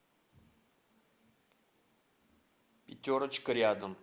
пятерочка рядом